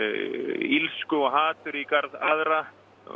illsku og hatur í garð annarra